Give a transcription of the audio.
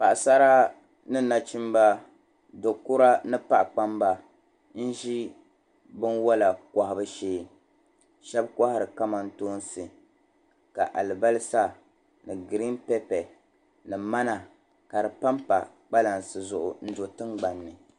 Paɣisara ni nachimba do' kura ni paɣikpamba n-ʒi tiwɔla kɔhibu shee shɛba kɔhiri kamantoonsi ka alibalisa ni ɡiriin pɛpɛ ni mana ka di pa m-pa kpalansi zuɣu n-do tiŋɡbani ni